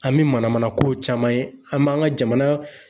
An be mana mana kow caman ye, an b'an ka jamana